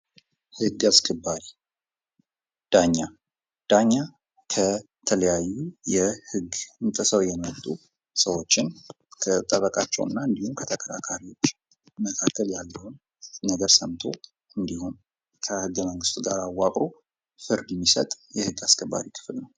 ህግ አስከባሪ ዳኛ ከተለያዩ ህገ ጥሰው የመጡ ሰዎችን ከጠበቃቸውና እንዲሁም ከተከታታዮች እንዲሁም ከህገመንግስቱ ጋር በማረግ ፍርድ የሚሰጥ የህግ አሰከባሪ ነው፡፡